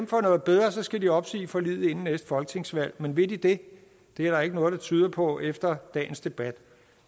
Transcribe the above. for noget bedre skal de opsige forliget inden næste folketingsvalg men vil de det det er der ikke noget der tyder på efter dagens debat